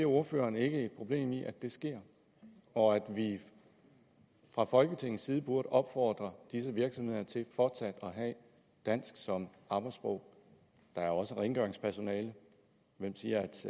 ordføreren ikke et problem i at det sker og at vi fra folketingets side burde opfordre disse virksomheder til fortsat at have dansk som arbejdssprog der er også rengøringspersonale hvem siger